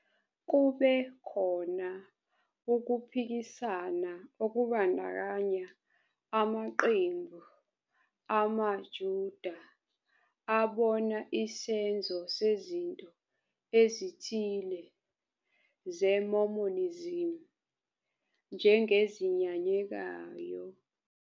Kube khona ukuphikisana okubandakanya amaqembu amaJuda abona isenzo sezinto ezithile zeMormonism njengezinyanyekayo.